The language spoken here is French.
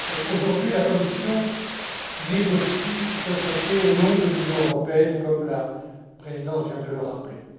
Aujourd'hui, la Commission négocie ce traité au nom de l'Union européenne, comme la Présidence vient de le rappeler.